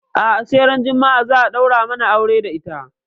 A'a sai ran juma'a za a ɗaura mana aure da ita.